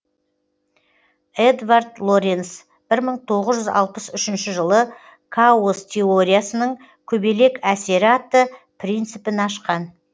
едвард лоренз бір мың тоғыз жүз алпыс үшінші жылы каос теориясының көбелек әсері атты принципін ашқан